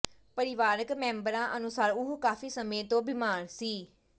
ਪਰਿਵਾਰਕ ਮੈਂਬਰਾਂ ਅਨੁਸਾਰ ਉਹ ਕਾਫ਼ੀ ਸਮੇਂ ਤੋਂ ਬਿਮਾਰ ਸੀ